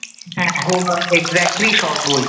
হ্যাঁ হ্যাঁ না এক্সাক্টলি স্বর্গই